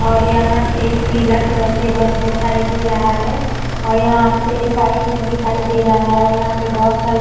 और यहाँ पे एक पिला कलर के बस दिखाई दे रहा है और यहाँ पे एक बाइक भी दिखाई दे रहा है और यहाँ पे बोहोत सारे --